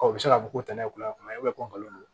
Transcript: u bɛ se ka fɔ ko n'an ye kulon kurun e b'a fɔ kolon don